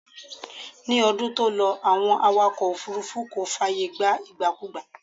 Ní ọdún tó lọ, Àwọn awakọ̀ òfúrúfú kò fààyè gba ìgbàkugbà